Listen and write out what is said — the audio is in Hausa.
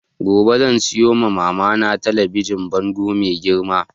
Gobe zan siyo ma mama na talabijin bango mai girma